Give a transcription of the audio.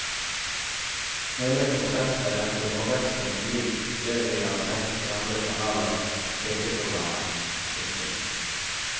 Hele konseptet er til forveksling likt det vi har sett i andre kanalers sjekkeprogrammer. punktum